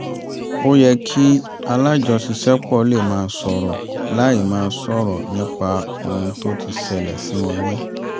ó yẹ kí alájọṣiṣẹ́pọ̀ lè máa sọ̀rọ̀ láì máa sọ̀rọ̀ nípa ohun tó ti ṣẹlẹ̀ sí wọn rí